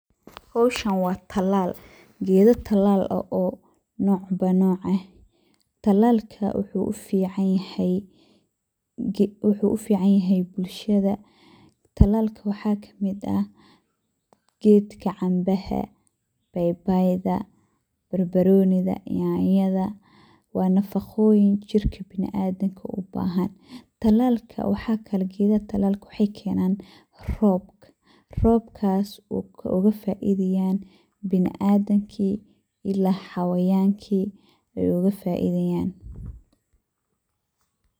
Howshan wa talaal, gedo talaal eh oo nocba noc eeh. Talaalka wuxu ufican yahay bulshada, talaalka waxa kamid ah gedka cambaha ah, babayda, barbaronida iyo yanyada wa nafaqoyin jirka biniadamka ubahan, gedaha talaalka wexey kenaan robka robkas oo ogafaidayan biniadanka ila xayawanka ogafaidayan.